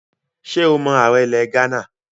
Ṣé o mọ ààrẹ ilẹ̀ Ghánà?